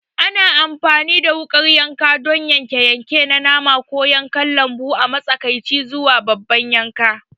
Ana amfani da wukar yanka don yanke-yanke na nama ko kayan lambu a matsakaici zuwa babban yanka.